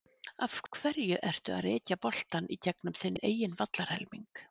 Af hverju ertu að rekja boltann í gegnum þinn eigin vallarhelming?